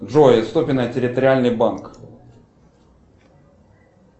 джой ступино территориальный банк